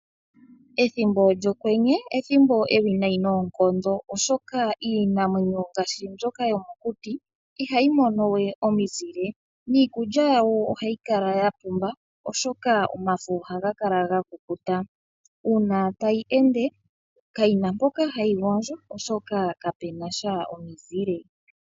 Ethimbo lyokwene olyo ethimbo ewiinayi noonkondo, oshoka iinamwenyo ngaashi mbyoka yomokuti ihayi mono we omizile, niikulya yawo ohayi kala yapumba, oshoka omafo ohaga kala gakukuta. Uuna tayi ende, kayina mpoka hayi gondjo, oshoka kapenasha omizile.